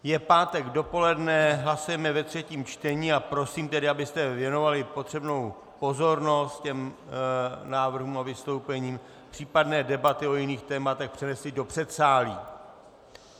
Je pátek dopoledne, hlasujeme ve třetím čtení a prosím tedy, abyste věnovali potřebnou pozornost těm návrhům a vystoupením, případné debaty o jiných tématech přenesli do předsálí.